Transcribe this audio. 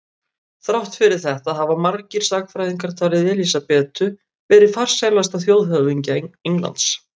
Þrátt fyrir þetta hafa margir sagnfræðingar talið Elísabetu vera farsælasta þjóðhöfðingja Englands.